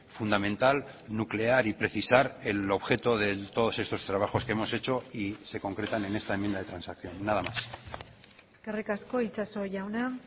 fundamental nuclear y precisar el objeto de todos estos trabajos que hemos hecho y se concretan en esta enmienda de transacción nada más eskerrik asko itxaso jauna